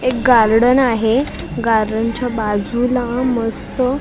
एक गार्डन आहे गार्डनच्या बाजूला मस्त --